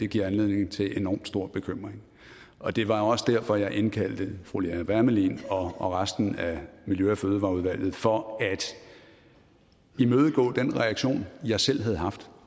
giver anledning til enormt stor bekymring og det var også derfor jeg indkaldte fru lea wermelin og resten af miljø og fødevareudvalget netop for at imødegå den reaktion jeg selv havde haft